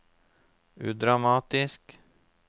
udramatisk